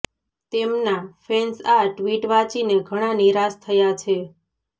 તેમના ફેન્સ આ ટ્વિટ વાંચીને ઘણાં નિરાશ થયા છે